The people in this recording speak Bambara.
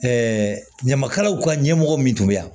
ɲamakalaw ka ɲɛmɔgɔ min tun bɛ yan